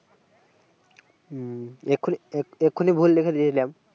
হু এক্ষুনি এক্ষুনি ভুল লিখে দিয়েছিলাম